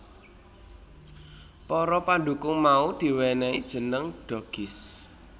Para pandhukung mau diwènèhi jeneng Doggys